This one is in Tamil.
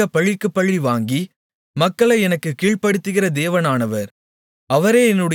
அவர் எனக்காகப் பழிக்குப் பழி வாங்கி மக்களை எனக்குக் கீழ்ப்படுத்துகிற தேவனானவர்